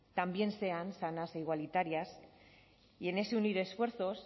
también sean sanas e igualitarias y en ese unir esfuerzos